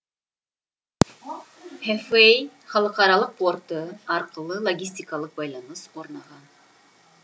хэфэй халықаралық порты арқылы логистикалық байланыс орнаған